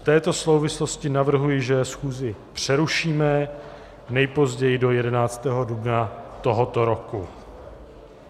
V této souvislosti navrhuji, že schůzi přerušíme nejpozději do 11. dubna tohoto roku.